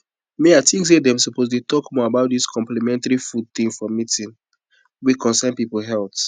me i think say them suppose dey talk more about this complementary food thing for meeting wey concern people health